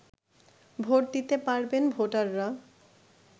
vote দিতে পারবেন ভোটাররা